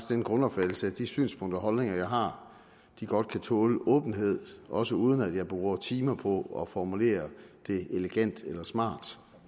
den grundopfattelse at de synspunkter og holdninger jeg har godt kan tåle åbenhed også uden at jeg bruger timer på at formulere dem elegant eller smart